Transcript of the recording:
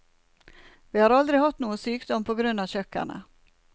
Vi har aldri hatt noe sykdom på grunn av kjøkkenet.